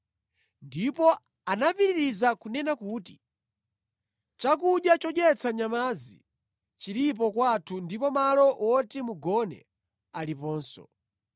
Ndipo anapitiriza kunena kuti, “Chakudya chodyetsa nyamazi chilipo kwathu ndipo malo woti mugone aliponso.”